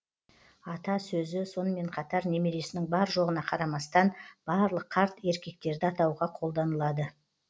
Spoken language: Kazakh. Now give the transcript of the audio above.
ата сөзі сонымен қатар немересінің бар жоғына қарамастан барлық қарт еркектерді атауға қолданылады